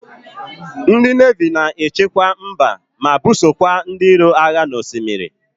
Ndi nevi na-echekwa mba ma busokwa ndi iro agha n' osimiri.